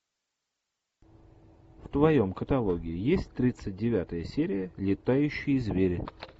в твоем каталоге есть тридцать девятая серия летающие звери